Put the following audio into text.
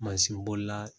Mansin bolila